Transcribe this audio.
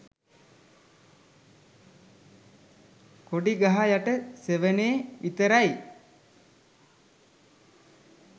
"කොඩි ගහ යට සෙවනේ" විතරයි